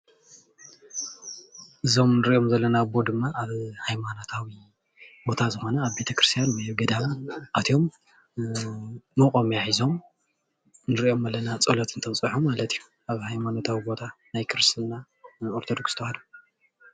እዞም እንሪኦም ዘለና ኣቦ ድማ ኣብ ሃይማኖታዊ ቦታ ዝኮነ ኣብ ቤተክርስትያን ገዳም ኣትዮም ሞቆምያ ሒዞም ንሪኦም ኣለና ፆሎት እንተብፅሑ ማለት እዩ፡፡ ኣብ ሃይማኖታዊ ቦታ ናይ ክርስትና ኦርተዶክስ ተዋህዶ ፡፡